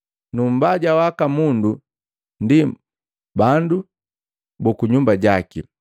Nu mbaja waka mundu ndi bandu buku nyumba jaki.